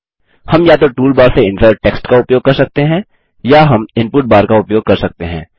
हम या तो टूलबार से इंसर्ट टेक्स्ट टूल का उपयोग कर सकते हैं या हम हम इनपुट बार का उपयोग कर सकते हैं